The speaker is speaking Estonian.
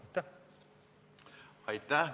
Aitäh!